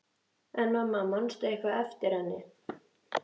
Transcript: En mamma, manstu eitthvað eftir henni?